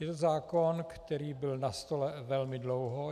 Je to zákon, který byl na stole velmi dlouho.